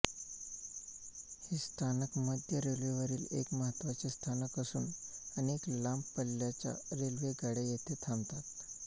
हे स्थानक मध्य रेल्वेवरील एक महत्त्वाचे स्थानक असून अनेक लांब पल्ल्याच्या रेल्वेगाड्या येथे थांबतात